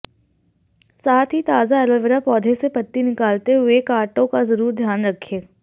साथ ही ताजा एलोवेरा पौधे से पत्ती निकालते हुए कांटों का जरूर ध्यान रखें